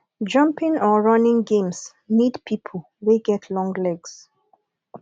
jumping or running games need pipo wey get long legs